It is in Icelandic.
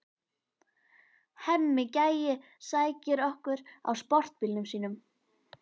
Hemmi gæi sækir okkur á sportbílnum sínum.